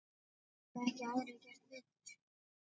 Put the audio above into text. Hafa ekki aðrir gert betur.